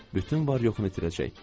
Bütün var-yoxunu itirəcək.